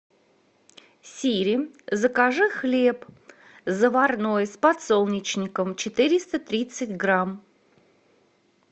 сири закажи хлеб заварной с подсолнечником четыреста тридцать грамм